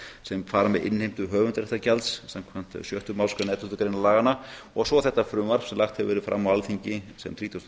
sem fara með innheimti höfundaréttargjalds samkvæmt sjöttu málsgrein elleftu greinar laganna og svo þetta frumvarp sem lagt hefur verið fram á alþingi sem þrítugasta